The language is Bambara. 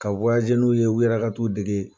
Ka n'u ye o yɛrɛ ka t'u dege